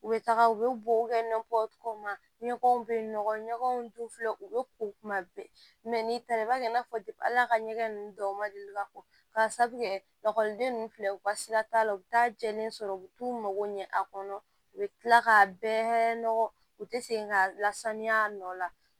U bɛ taga u bɛ bɔ ɲɛgɛnw bɛ yen nɔgɔ ɲɔgɔn dun filɛ u bɛ ko kuma bɛɛ n'i taara i b'a kɛ i n'a fɔ al'a ka ɲɛgɛn ninnu dɔw ma deli ka bɔ ka sabu kɛ lakɔliden ninnu filɛ u ka sira t'a la u bɛ taa jɛlen sɔrɔ u bɛ t'u mago ɲɛ a kɔnɔ u bɛ tila k'a bɛɛ nɔgɔ u tɛ segin ka lasanuya a nɔ la